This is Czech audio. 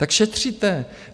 Tak šetříte!